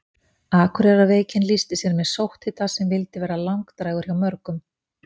Akureyrarveikin lýsti sér með sótthita sem vildi vera langdrægur hjá mörgum.